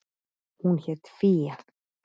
Hún hét Fía.